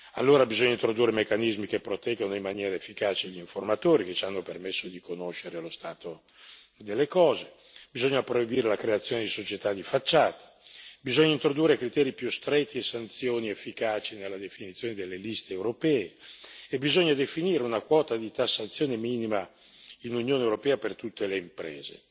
Allora bisogna introdurre meccanismi che proteggano in maniera efficace gli informatori che ci hanno permesso di conoscere lo stato delle cose, bisogna proibire la creazione di società di facciata, bisogna introdurre criteri più stretti e sanzioni efficaci nella definizione delle liste europee, e bisogna definire una quota di tassazione minima nell'Unione europea per tutte le imprese.